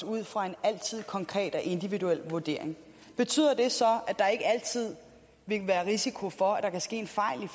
ud fra en konkret og individuel vurdering betyder det så at der ikke altid vil være risiko for at der kan ske en fejl i